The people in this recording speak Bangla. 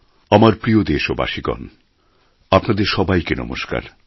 আমার প্রিয় দেশবাসীগণ আপনাদের সবাইকে নমস্কার